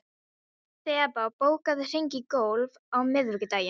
Þeba, bókaðu hring í golf á miðvikudaginn.